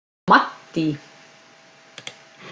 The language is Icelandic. Maddý